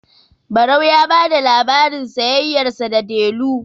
barau ya ba da labarin sayayyarsa da delu